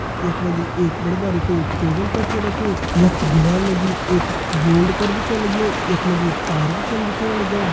यख मा जी एक बड़ु बारिकु टेबल कर छा रख्युं यख दीवाल मा जी एक बोर्ड कर छा लग्युं यखम मा जी तार भी छन दिखेण लग्यां।